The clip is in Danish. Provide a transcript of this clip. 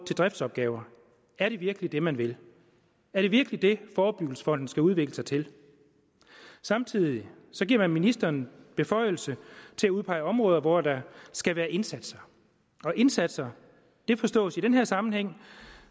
til driftsopgaver er det virkelig det man vil er det virkelig det forebyggelsesfonden skal udvikle sig til samtidig giver man ministeren beføjelse til at udpege områder hvor der skal være indsatser indsatser forstås i den her sammenhæng